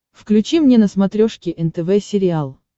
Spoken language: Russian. включи мне на смотрешке нтв сериал